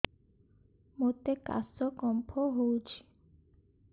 ମୋତେ କାଶ କଫ ହଉଚି